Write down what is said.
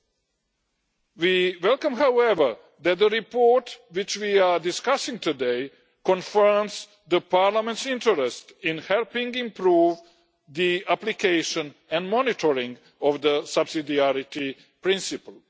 However, we welcome that the report which we are discussing today confronts the Parliament's interest in helping improve the application and monitoring of the subsidiarity principle.